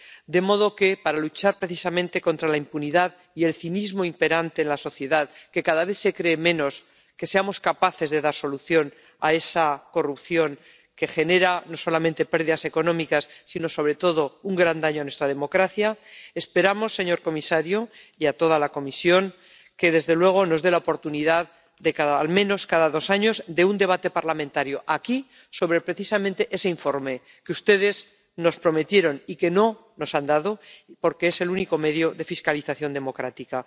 de modo que, para luchar precisamente contra la impunidad y el cinismo imperante en la sociedad, que cada vez se cree menos que seamos capaces de dar solución a esa corrupción que genera no solamente pérdidas económicas sino sobre todo un gran daño a nuestra democracia, esperamos, señor comisario, y de toda la Comisión, que nos dé la oportunidad de al menos cada dos años un debate parlamentario, aquí, sobre ese informe que ustedes nos prometieron y que no nos han dado, porque es el único medio de fiscalización democrática.